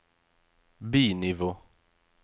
bi-nivå